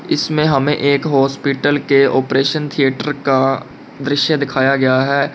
इसमें हमें एक हॉस्पिटल के ऑपरेशन थिएटर का दृश्य दिखाया गया है।